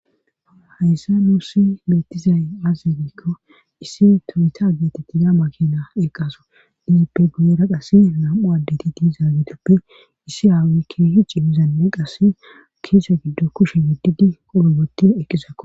hayssa nuussi beetizay azegikko issi toyita geetettiya makina eqqaso dizippe guyera qass nam7u addeti diizaagitoppe issi aawi keehi cimmizanne qas kiise giddo kushe giddidi qolo goti eqqisakko